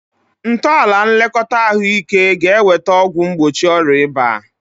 Ntọala nlekọta ahụike ga-eweta ọgwụ mgbochi ọrịa ịba